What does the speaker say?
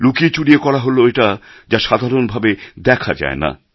লুকিয়েচুরিয়ে করা হল এটা যা সাধারণভাবে দেখা যায় না